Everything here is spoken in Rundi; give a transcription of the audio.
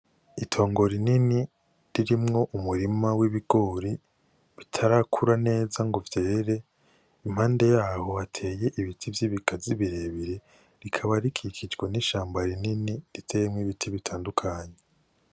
Itongo rinini ririmwo umurima w'ibigori bitarakura neza ngo vyere. Impande y'aho hateye ibiti vy'ibigazi birebire, rikaba rikikijwe n'ishamba rinini riteyemwo ibiti bitandukanye.